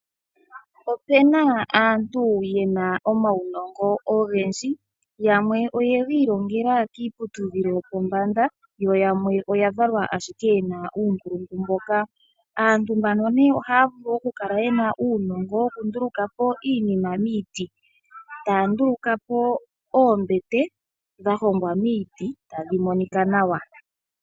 Ope na aantu ye na omaunongo ogendji. Yamwe oye ga ilongela kiiputudhilo yopombanda, yo yamwe oya valwa ashike ye na uunkulungu mboka. Aantu mbano ohaya vulu okukala ye na uunongo wokunduluka po iinima miiti. Taa nduluka po oombete dha hongwa miiti tadhi monika nawa.